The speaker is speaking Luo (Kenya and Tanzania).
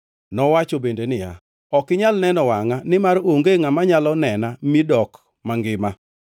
Nowacho bende niya “Ok inyal neno wangʼa, nimar onge ngʼama nyalo nena mi dok mangima.”